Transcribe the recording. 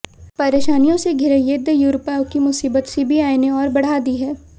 परेशानियों से घिरे येद्दयुरप्पा की मुसीबत सीबीआइ ने और बढ़ा दी है